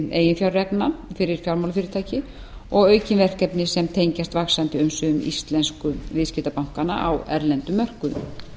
eiginfjárreglna fyrir fjármálafyrirtæki og aukin verkefni sem tengjast vaxandi umsvifum íslensku viðskiptabankanna á erlendum mörkuðum